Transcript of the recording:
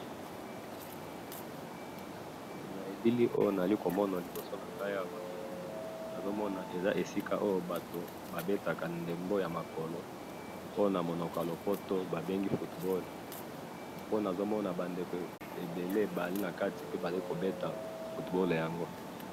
na bilili oyo nazali komona liboso nangai awa, nazomona eza esika oyo batu babetaka ndembo ya makolo pe namonoko ya lopoto babengi football, pe nazomona ba ndeko ebele bazali nakati pe bazali kobeta football yango